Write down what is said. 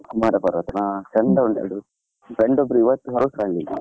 ಕುಮಾರ ಪರ್ವತಾನಾ, ಚಂದ ಉಂಟು ಅದು. friend ಒಬ್ರು ಇವತ್ತ್ ಹೊರಟ್ರು ಅಲ್ಲಿಗೆ.